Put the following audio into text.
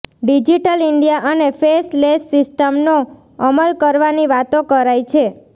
digital India અને faceless સિસ્ટમનો અમલ કરવાની વાતો કરાય છે